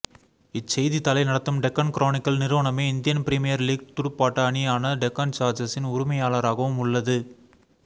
இச்செய்தித்தாளை நடத்தும் டெக்கன் குரோனிக்கள் நிறுவனமே Indian Premier League துடுப்பாட்ட அணியான டெக்கான் சார்ஜர்சின் உரிமையாளராகவும் உள்ளது